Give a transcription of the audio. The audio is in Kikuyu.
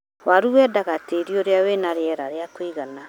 Waru wendaga tĩĩri ũrĩ na rĩera rĩa kũigana.